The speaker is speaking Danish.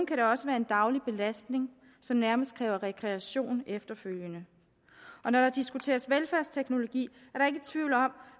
kan det også være en daglig belastning som nærmest kræver rekreation efterfølgende når der diskuteres velfærdsteknologi